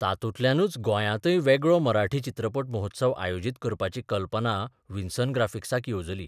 तातूंतल्यानच गोंयांतय वेगळो मराठी चित्रपट महोत्सव आयोजीत करपाची कल्पना व्हिन्सन ग्राफिक्साक येबजली.